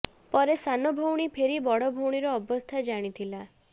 ପରେ ସାନ ଭଉଣୀ ଫେରି ବଡ ଭଉଣୀର ଅବସ୍ଥା ଜାଣିଥିଲା